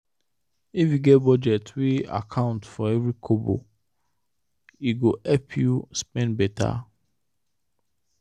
if you get budget wey account for every kobo e go help you spend better.